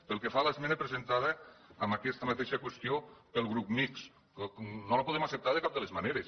pel que fa a l’esmena presentada en aquesta mateixa qüestió pel grup mixt no la podem acceptar de cap de les maneres